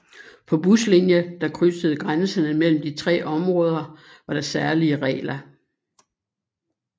På buslinjer der krydsede grænserne mellem de tre områder var der særlige regler